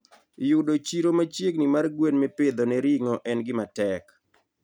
yudo chiro machiegni mar gwen mipidho ne ring'o en gima tek.